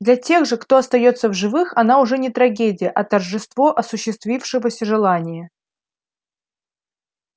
для тех же кто остаётся в живых она уже не трагедия а торжество осуществившегося желания